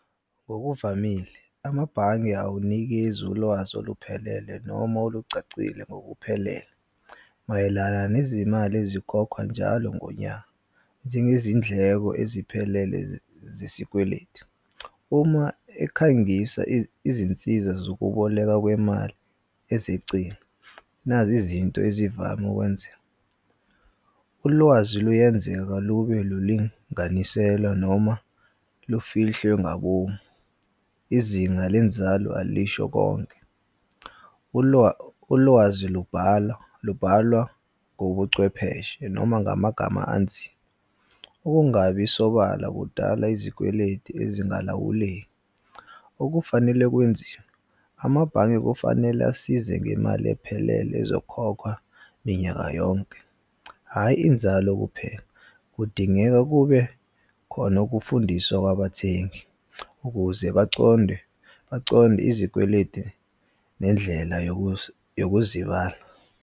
Ngokuvamile amabhange awunikezi ulwazi oluphelele noma olucacile ngokuphelele mayelana nezimali ezikhokha njalo ngonyaka, njengezindleko eziphelele zesikweletu. Uma ekhangisa izinsiza zokubolekwa kwemali ezecile. Nazi izinto ezivame ukwenzeka, ulwazi luyenzeka lube lulinganiselwa noma lufihlwe ngabomu. Izinga lenzalo alisho konke. Ulwazi lubhalwa ngobuchwepheshe noma ngamagama . Ukungabi sobala kudala izikweletu ezingalawuleki. Okufanele kwenziwa, amabhange kufanele asize ngemali ephelele ezokhokhwa minyaka yonke, hhayi inzalo kuphela. Kudingeka kube khona ukufundiswa kwabathengi, ukuze baconde baconde izikweletu nendlela yokuzibala.